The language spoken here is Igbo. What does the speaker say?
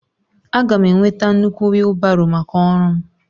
Aga m enweta nnukwu wheelbarrow maka ọrụ m